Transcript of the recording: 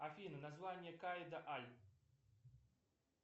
афина название каида аль